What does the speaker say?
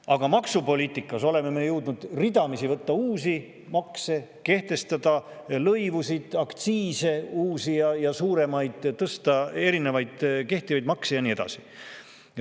Aga maksupoliitikas oleme me jõudnud ridamisi kehtestada uusi makse, lõivusid, uusi ja suuremaid aktsiise, tõsta erinevaid kehtivaid makse ja nii edasi.